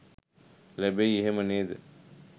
ලැබෙයි එහෙම නේද?